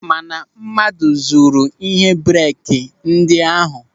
Mana mmadụ zuru ịhe breeki ndị ahụ.